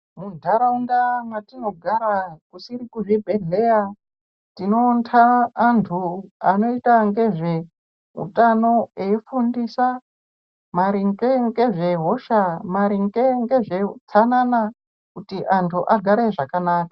Muntaraunda mwatinogara kusiri kuzvibhedhlera tinoonta antu anoita ngezveutano eifundisa maringe ngezvehosha, maringe ngezveutsanana. Kutj antu agare zvakanaka.